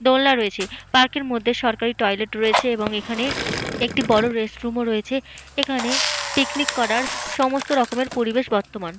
দোলনা রয়েছে। পার্ক এর মধ্যে একটা সরকারি টয়লেট রয়েছে এবং এখানে একটি বড় রেস্টরুম ও রয়েছে। এখানে পিকনিক করার সমস্ত রকমের পরিবেশ বর্তমান।